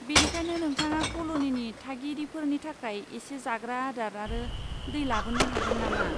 बेनिखायनो, नोंथाङा कल'निनि थागिरिफोरनि थाखाय इसे जाग्रा आदार आरो दै लाबोनो हागोन नामा?